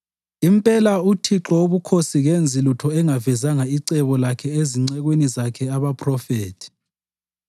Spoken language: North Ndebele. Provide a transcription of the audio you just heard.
Impela uThixo Wobukhosi kenzi lutho engavezanga icebo lakhe ezincekwini zakhe abaphrofethi.